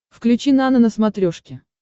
включи нано на смотрешке